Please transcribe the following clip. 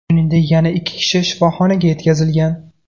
Shuningdek, yana ikki kishi shifoxonaga yetkazilgan.